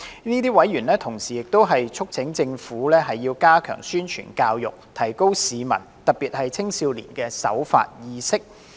這些委員並同時促請政府加強宣傳教育，提高市民特別是青少年的守法意識。